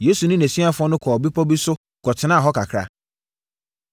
Yesu ne nʼasuafoɔ no kɔɔ bepɔ bi so kɔtenaa hɔ kakra.